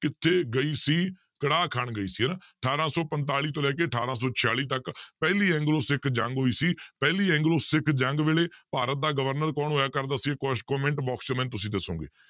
ਕਿੱਥੇ ਗਈ ਸੀ ਕੜਾਹ ਖਾਣ ਗਈ ਸੀ ਹਨਾ ਅਠਾਰਾਂ ਸੌ ਪੰਤਾਲੀ ਤੋਂ ਲੈ ਕੇ ਅਠਾਰਾਂ ਸੌ ਛਿਆਲੀ ਤੱਕ ਪਹਿਲੀ ਐਗਲੋ ਸਿੱਖ ਜੰਗ ਹੋਈ ਸੀ ਪਹਿਲੀ ਐਂਗਲੋ ਸਿੱਖ ਜੰਗ ਵੇਲੇ ਭਾਰਤ ਦਾ ਗਵਰਨਰ ਕੌਣ ਹੋਇਆ comment box 'ਚ ਮੈਨੂੰ ਤੁਸੀਂ ਦੱਸੋਗੇ